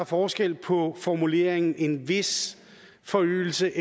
forskel på formuleringen en vis forøgelse